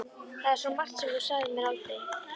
Það er svo margt sem þú sagðir mér aldrei.